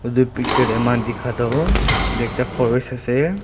edu picture tae amikhan dikha toh edu ekta forest ase.